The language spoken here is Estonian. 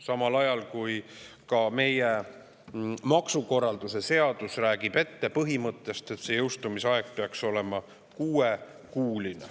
Samal ajal räägib meie maksukorralduse seadus põhimõttest, et jõustumiseni peaks aega olema kuus kuud.